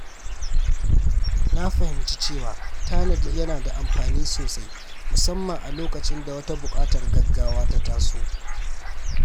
Na fahimci cewa tanadi yana da amfani sosai musamman a lokacin da wata buƙatar gaggawa ta taso.